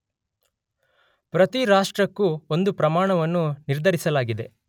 ಪ್ರತಿ ರಾಷ್ಟ್ರಕ್ಕೂ ಒಂದು ಪ್ರಮಾಣವನ್ನು ನಿರ್ಧರಿಸಲಾಗಿದೆ.